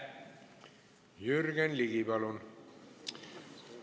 Jürgen Ligi, palun!